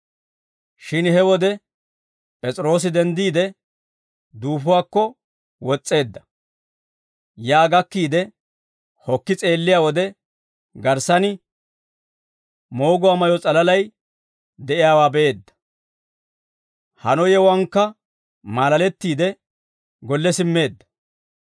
Shin he wode P'es'iroosi denddiide duufuwaakko wos's'eedda. Yaa gakkiide hokki s'eelliyaa wode, garssan mooguwaa mayyo s'alalay de'iyaawaa be'eedda. Hano yewuwaankka maalalettiide, golle simmeedda.